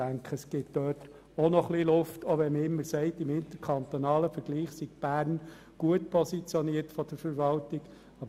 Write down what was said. Ich denke, es gibt auch dort noch Luft, auch wenn man immer sagt, Bern sei, was den Verwaltungsaufwand betrifft, im interkantonalen Vergleich gut positioniert.